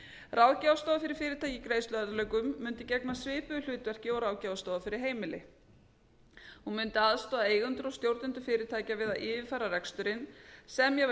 ráðgjafarstofa fyrir fyrirtæki í greiðsluörðugleikum mundi gegna svipuðu hlutverki og ráðgjafarstofa fyrir heimili hún mundi aðstoða eigendur og stjórnendur fyrirtækja við að yfirfara reksturinn semja við